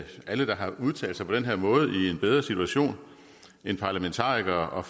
alle der har udtalt sig på den her måde i en bedre situation end parlamentarikere og